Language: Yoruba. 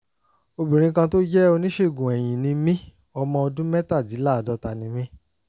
obìnrin kan tó jẹ́ oníṣègùn eyín ni mí ọmọ ọdún mẹ́tàdínláàádọ́ta ni mí